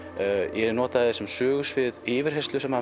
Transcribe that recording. ég nota sem sögusvið yfirheyrslu sem hann